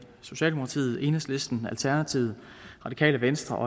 socialdemokratiet enhedslisten alternativet radikale venstre og